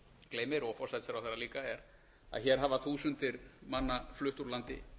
gleymir og forsætisráðherra líka er að hér hafa þúsundir manna flutt úr landi